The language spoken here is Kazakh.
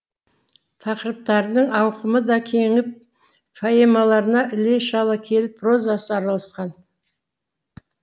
тақырыптардың ауқымы да кеңіп поэмаларына іле шала келіп прозасы араласқан